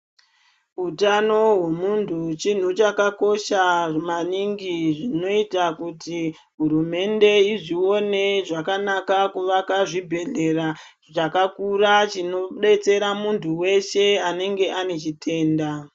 Utano hwemuntu chinhu chakakosha maningi zvinoita kuti hurumende izvione zvakanaka kuvaka chibhedhlera chakakura chinodetsera muntu weshe anenge ane chitenda.